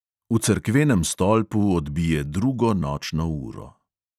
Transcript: V cerkvenem stolpu odbije drugo nočno uro.